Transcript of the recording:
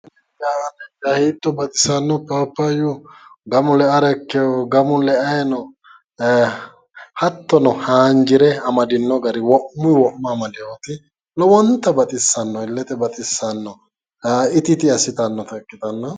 Hiitto baxisano paappayu gamu le'ara ikeo gamu le'ayi no hattono haanjire amadino gari wo'muyi wo'ma amadeyiti lowonta baxissanno illete baxissano iti iti asitannota ikkitanna...